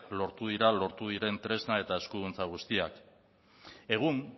lortu dira lortu diren tresna eta eskuduntza guztiak egun